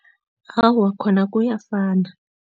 Awa, khona kuyafana.